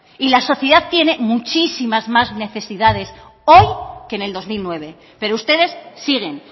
y la sociedad tiene muchísimas más necesidades hoy que en el dos mil nueve pero ustedes siguen